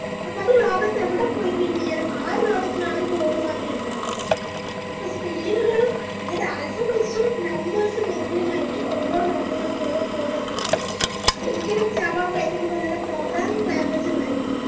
അപ്പത് ലോകത്ത് എവിടെ പോയിക്കയിഞ്ഞാലും ആ ഒര് രോഗത്തിന് ആ ഒര് code മാത്രേ ഇണ്ടാവുള്ളു അപ്പൊ പേരുകളും അതായത് alphabets ഉം numbers mingling ആയിറ്റ് ഓരോ രോഗങ്ങൾക്ക് ഓരോ code എന്നുള്ളതാരിക്കും അത് ഒരിക്കലും java python പോലെയുള്ള programming language കളല്ല